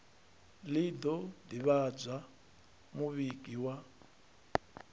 ḽi ḓo ḓivhadza muvhigi wa